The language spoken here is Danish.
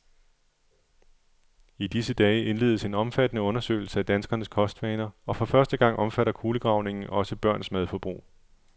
I disse dage indledes en omfattende undersøgelse af danskernes kostvaner, og for første gang omfatter kulegravningen også børns madforbrug.